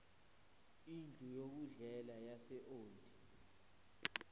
indlu yokudlela yaseold